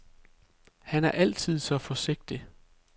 Han er altid så forsigtig.